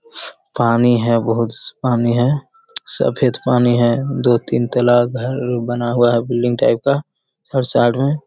पानी है । बहुत पानी है । सफ़ेद पानी है । दो तीन तला घर बना हुआ है बिल्डिंग टाइप का और साइड में --